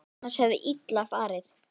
Annars hefði illa farið.